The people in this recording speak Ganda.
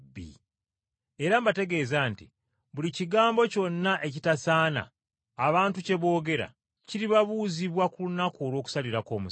Era mbategeeza nti buli kigambo kyonna ekitasaana abantu kye boogera, kiribabuuzibwa ku lunaku olw’okusalirako emisango.